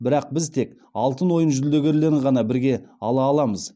бірақ біз тек алтын ойын жүлдегерлерін ғана бірге ала аламыз